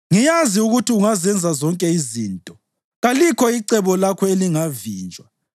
“Ngiyazi ukuthi ungazenza zonke izinto; kalikho icebo lakho elingavinjwa.